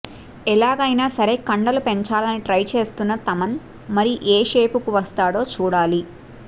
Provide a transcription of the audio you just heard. ఎలాగైనా సరే కండలు పెంచాలని ట్రై చేస్తున్న తమన్ మరి ఏ షేపుకు వస్తాడో చూడాలి